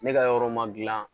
Ne ka yɔrɔ ma gilan